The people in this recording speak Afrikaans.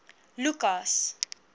lukas